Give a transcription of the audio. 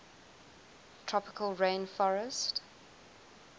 tropical rain forestt